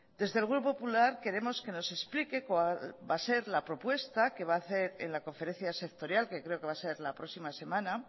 desde el grupo popular queremos que nos explique cuál va a ser la propuesta que va a hacer en la conferencia sectorial ue creo que va a ser la próxima semana